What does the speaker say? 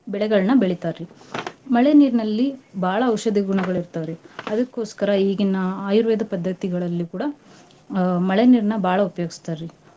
ಬೆಳೆಗಳ್ನ ಬೆಳೀತಾರ್ರಿ. ಮಳೆ ನೀರ್ನಲ್ಲಿ ಬಾಳ ಔಷದ ಗುಣಗಳಿರ್ತಾವ್ರಿ ಅದಕ್ಕೋಸ್ಕರ ಈಗಿನ ಆಯುರ್ವೇದ ಪದ್ದತಿಗಳಲ್ಲಿ ಕೂಡ ಅ ಮಳೆ ನೀರ್ನ ಬಾಳ್ ಉಪ್ಯೋಗ್ಸ್ತಾರ್ರಿ.